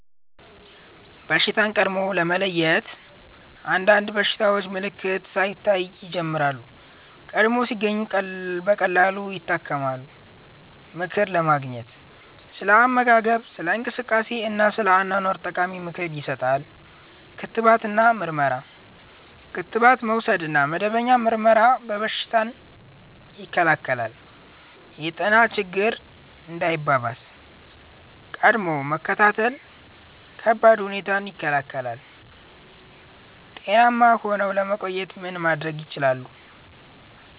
በሽታን ቀድሞ ለመለየት – አንዳንድ በሽታዎች ምልክት ሳይታይ ይጀምራሉ፤ ቀድሞ ሲገኙ ቀላል ይታከማሉ። ምክር ለማግኘት – ስለ አመጋገብ፣ ስለ እንቅስቃሴ እና ስለ አኗኗር ጠቃሚ ምክር ይሰጣል። ክትባት እና ምርመራ – ክትባት መውሰድ እና መደበኛ ምርመራ በሽታን ይከላከላል። የጤና ችግኝ እንዳይባባስ – ቀድሞ መከታተል ከባድ ሁኔታን ይከላከላል። ጤናማ ሆነው ለመቆየት ምን ማድረግ ይችላሉ?